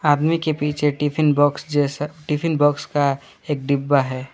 आदमी के पीछे टिफिन बॉक्स जैसा टिफिन बॉक्स का एक डिब्बा है।